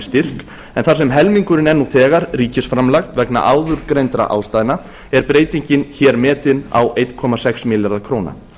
styrk en þar sem helmingurinn er nú þegar ríkisframlag vegna áður greindra ástæðna er breytingin hér metin á einum komma sex milljarða króna